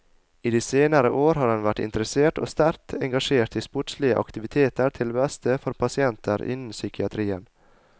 I de senere år har han vært interessert og sterkt engasjert i sportslige aktiviteter til beste for pasienter innen psykiatrien.